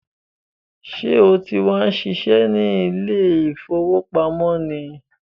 Sọ ti wá ń ṣiṣẹ́ ní ilé ìfowópamọ́ ni?